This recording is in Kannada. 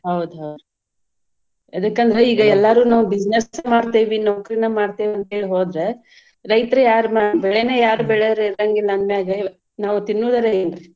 ಹೌದ್ ಹೌದ್ರಿ ಎದಕಂದ್ರ್ ಈಗ ಎಲ್ಲಾರೂ ನಾವ್ business ಮಾಡ್ತೇವಿ ನೌಕರಿನ ಮಾಡ್ತೇವಿ ಅಂತೇಳಿ ಹೋದ್ರ ರೈತ್ರ್ ಯಾರ್ ಬೆಳೆನಾ ಯಾರ್ ಬೆಳಿಯೂರ್ ಇರಂಗಿಲ್ಲಾ ಅಂದ್ಮ್ಯಾಗ ನಾವ್ ತಿನ್ನುದಾರ ಏನು?